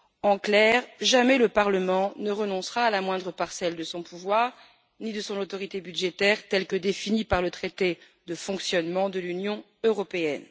En clair, jamais le Parlement ne renoncera à la moindre parcelle de son pouvoir, ni de son autorité budgétaire définie par le traité sur le fonctionnement de l'Union européenne.